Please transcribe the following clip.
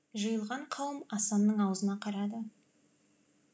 жиылған қауым асанның аузына қарады